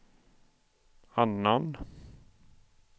annan